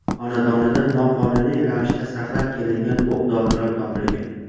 xonadonida noqonuniy ravishda saqlab kelingan o‘q dorilar topilgan.